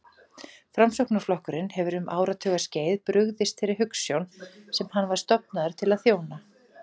Framsóknarflokkurinn hefur um áratugaskeið brugðist þeirri hugsjón sem hann var stofnaður til að þjóna.